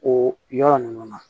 O yɔrɔ ninnu na